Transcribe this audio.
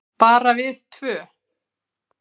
Bara við tvö?